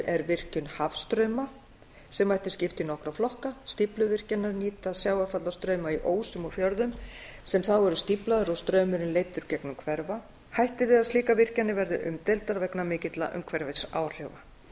er virkjun hafstrauma sem mætti skipta í nokkra flokka stífluvirkjanir nýta sjávarfallastrauma í ósum og fjörðum sem þá eru stíflaðir og straumurinn leiddur gegnum hverfla hætt er við að slíkar virkjanir verði umdeildar vegna mikilla umhverfisáhrifa